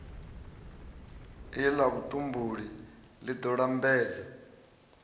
la vhutumbuli li do lambedza